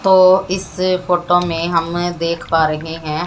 तो इस फोटो में हम देख पा रहे हैं--